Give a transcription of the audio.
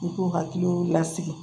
U k'u hakiliw lasigi